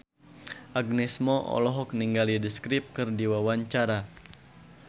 Agnes Mo olohok ningali The Script keur diwawancara